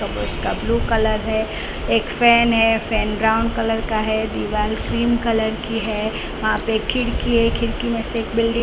blue colour है एक fan है फैन ब्राउन कलर का है दीवार क्रीम कलर की है वहां पे खिड़की में से एक बिल्डिंग --